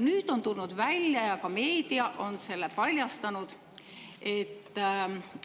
Nüüd on tulnud välja – ka meedia on selle paljastanud –, et